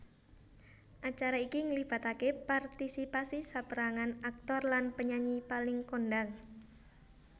Acara iki nglibatake partisipasi saperangan aktor lan penyanyi paling kondhang